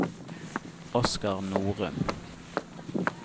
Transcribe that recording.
Oskar Norum